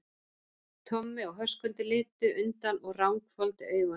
Tommi og Höskuldur litu undan og ranghvolfdu augunum.